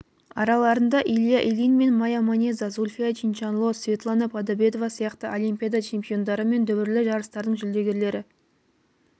араларында илья ильин мая манеза зульфия чиншанло светлана подобедова сияқты олимпиада чемпиондары мен дүбірлі жарыстардың жүлдегерлері